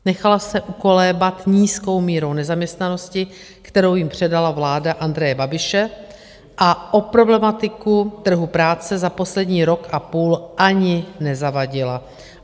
Nechala se ukolébat nízkou mírou nezaměstnanosti, kterou jim předala vláda Andreje Babiše, a o problematiku trhu práce za poslední rok a půl ani nezavadila.